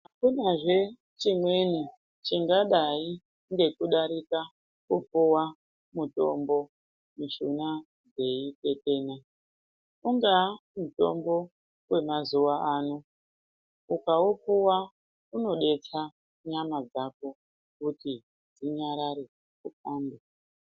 Akunazve chimweni chingadai ngekudarika kupuwa mutombo mushuna dzeitetena. Ungaa mutombo wemazuwa ano ukaupuwa unodetsera nyama dzako kuti dzinyarare ufambe.